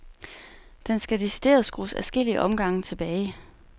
Den skal decideret skrues adskillige omgange tilbage.